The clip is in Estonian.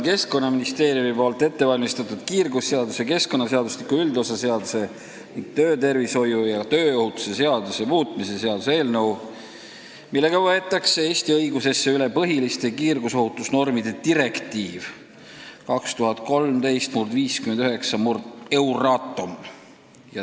Keskkonnaministeerium on ette valmistanud kiirgusseaduse, keskkonnaseadustiku üldosa seaduse ning töötervishoiu ja tööohutuse seaduse muutmise seaduse eelnõu, mille eesmärk on võtta Eesti õigusesse üle põhiliste kiirgusohutusnormide direktiiv 2013/59/Euratom.